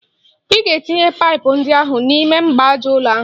Ị ga-etinye paịpụ ndị ahụ n'ime mgbaaja ụlọ ahụ!